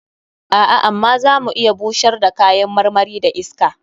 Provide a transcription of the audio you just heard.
A'a, amma za mu iya bushar da kayan marmari da iska.